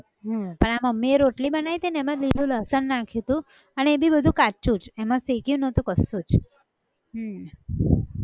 હમ પણ આ મમ્મી એ રોટલી બનાયી હતી ને એમાં લીલું લસણ નાખ્યું હતું, અને એ બી બધું કાચ્ચું જ, એમાં શેક્યું નહોતું કશું જ, હમ